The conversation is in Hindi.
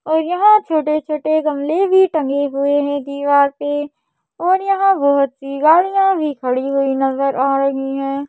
और यहां छोटे-छोटे गमले भी टंगे हुए हैं दीवार पे और यहां बहुत सी गाड़ियां भी खड़ी हुई नज़र आ रही हैं।